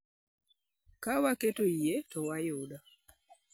Ka waketo yie, to wayudo.